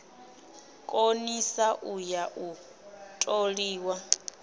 konisa u ya u toliwa